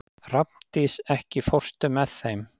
Hrafndís, ekki fórstu með þeim?